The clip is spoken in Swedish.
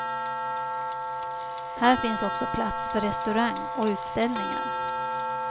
Här finns också plats för restaurang och utställningar.